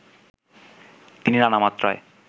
তিনি নানা মাত্রায়